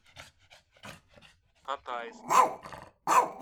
катайск